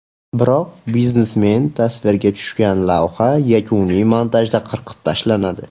Biroq biznesmen tasvirga tushgan lavha yakuniy montajda qirqib tashlanadi.